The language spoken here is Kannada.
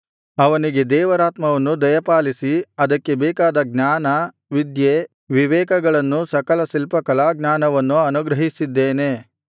ಅವನಿಗೆ ದೇವರಾತ್ಮವನ್ನು ದಯಪಾಲಿಸಿ ಅದಕ್ಕೆ ಬೇಕಾದ ಜ್ಞಾನ ವಿದ್ಯೆ ವಿವೇಕಗಳನ್ನೂ ಸಕಲ ಶಿಲ್ಪ ಕಲಾಜ್ಞಾನವನ್ನೂ ಅನುಗ್ರಹಿಸಿದ್ದೇನೆ